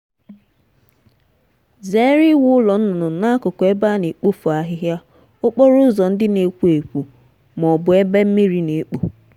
zere iwu ụlọ nnụnụ n'akụkụ ebe a na-ekpofu ahịhịa okporo ụzọ ndị na-ekwo ekwo ma ọ bụ ebe mmiri na-ekpo.